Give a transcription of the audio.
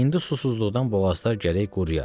İndi susuzluqdan boğazlar gərək quruya.